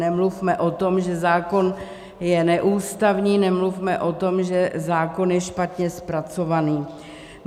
Nemluvme o tom, že zákon je neústavní, nemluvme o tom, že zákon je špatně zpracovaný.